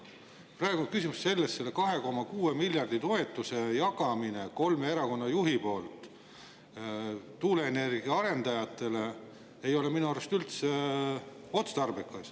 Praegu on küsimus selles: kolme erakonna juhi poolt 2,6 miljardi euro jagamine toetuseks tuuleenergia arendajatele ei ole minu arust üldse otstarbekas.